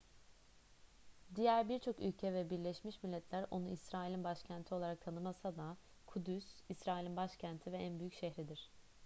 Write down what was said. diğer birçok ülke ve birleşmiş milletler onu i̇srail'in başkenti olarak tanımasa da kudüs i̇srail'in başkenti ve en büyük şehridir